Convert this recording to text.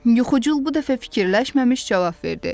Yuxucul bu dəfə fikirləşməmiş cavab verdi.